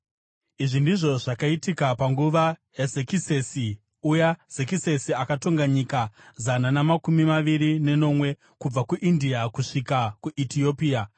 Izvi ndizvo zvakaitika panguva yaZekisesi, uya Zekisesi akatonga nyika zana namakumi maviri nenomwe kubva kuIndia kusvika kuEtiopia: